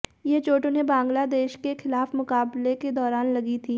ये चोट उन्हें बांग्लादेश के खिलाफ मुकाबले के दौरान लगी थी